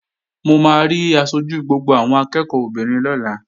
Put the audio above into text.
Mo máa rí aṣojú gbogbo àwọn akẹ́ẹ̀kọ́ obìnrin lọ́la